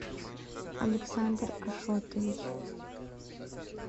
александр ашотович